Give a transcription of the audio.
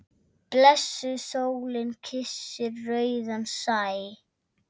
Blessuð sólin kyssir rauðan sæ.